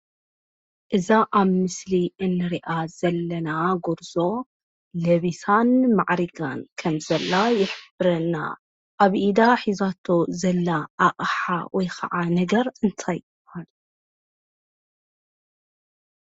እዛ ኣብ ምስሊ እንሪኣ ዘለና ጎርዞ ለቢሳን ማዕሪጋን ከም ዘላ ይሕብረና፡፡ ኣብ ኢዳ ሒዛቶ ዘላ ኣቅሓ ወይ ከዓ ነገር እንታይ ይባሃል?